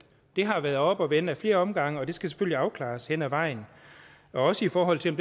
har været oppe at vende ad flere omgange og det skal selvfølgelig afklares hen ad vejen også i forhold til om